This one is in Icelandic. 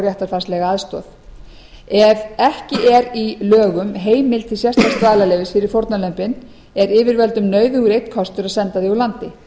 réttarfarslega aðstoð ef ekki er í lögum heimild til sérstaks dvalarleyfis fyrir fórnarlömbin er yfirvöldum nauðugur einn kostur að senda þau úr landi